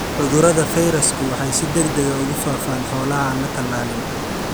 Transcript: Cudurrada fayrasku waxay si degdeg ah ugu faafaan xoolaha aan la tallaalin.